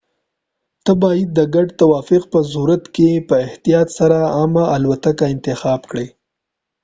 ته باید د ګډ توافق په صورت کې په احتیاط سره عامه الوتکه انتخاب کړې